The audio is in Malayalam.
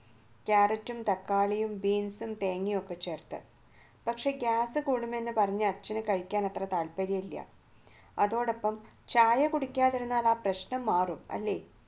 കാരറ്റും തക്കാളിയും ബീൻസും തേങ്ങയും ഒക്കെ ചേർത്ത് പക്ഷേ gas കൂടും എന്ന് പറഞ്ഞ് അച്ഛന് കഴിക്കാൻ അത്ര താല്പര്യം ഇല്ല അതോടൊപ്പം ചായ കുടിക്കാതിരുന്നാൽ ആ പ്രശ്നം മാറും അല്ലേ